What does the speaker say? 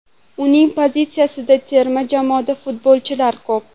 Uning pozitsiyasida terma jamoada futbolchilar ko‘p.